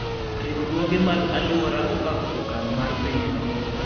Riwruoge mag aluora opako okang' mar pinyno.